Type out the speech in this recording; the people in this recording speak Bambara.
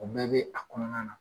O bɛɛ bɛ a kɔnɔna na!